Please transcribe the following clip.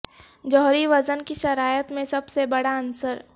جوہری وزن کی شرائط میں سب سے بڑا عنصر